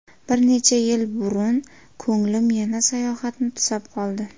Bir necha yil burun ko‘nglim yana sayohatni tusab qoldi.